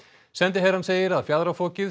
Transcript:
sendiherrann segir að fjaðrafokið